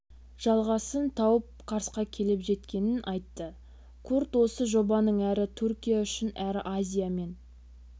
жалғасын тауып карсқа келіп жеткенін айтты курт осы жобаның әрі түркия үшін әрі азия мен